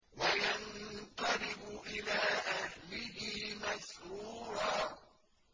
وَيَنقَلِبُ إِلَىٰ أَهْلِهِ مَسْرُورًا